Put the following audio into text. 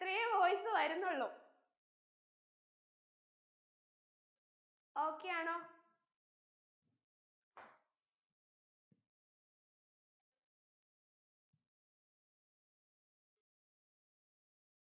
ഇത്രയേ voice വരുന്നുള്ളു okay യാണോ